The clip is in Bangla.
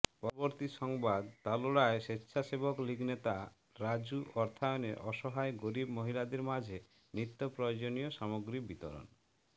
পরবর্তী সংবাদ তালোড়ায় স্বেচ্ছাসেবকলীগ নেতা রাজু অর্থায়নে অসহায় গরীব মহিলাদের মাঝে নিত্য প্রয়োজনীয় সামগ্রী বিতরণ